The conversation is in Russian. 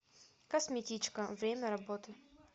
косметичка время работы